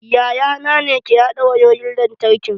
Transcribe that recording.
Yayana ne ke haɗa wayoyin lantarkin